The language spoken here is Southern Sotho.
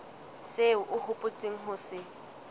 seo o hopotseng ho se